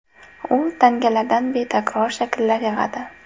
U tangalardan betakror shakllar yig‘adi.